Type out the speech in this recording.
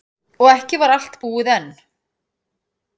Og ekki var allt búið enn.